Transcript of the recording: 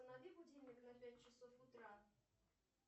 установи будильник на пять часов утра